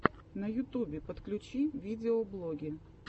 на ютубе подключи видеоблоги